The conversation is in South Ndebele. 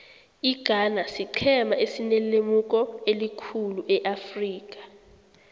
ighana siqhema esinelemuko elikhulu eafrika